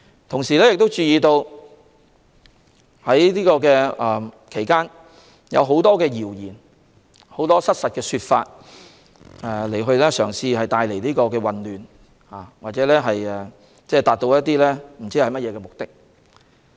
同時，我們也注意到在這期間有很多謠言，也有很多失實的說法，試圖製造混亂，達至某些目的。